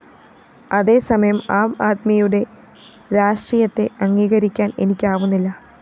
അതേസമയം ആംആദ്മിയുടെ രാഷ്ട്രീയത്തെ അംഗീകരിക്കാന്‍ എനിക്കാവുന്നില്ല